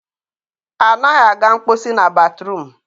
anaghị aga mkposi na batruum.